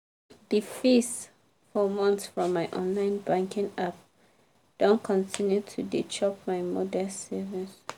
the fees for month from my online banking app don continue to dey chop my modest savings.